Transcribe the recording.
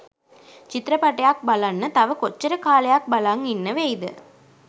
චිත්‍රපටයක් බලන්න තව කොච්චර කාලයක් බලං ඉන්න වෙයිද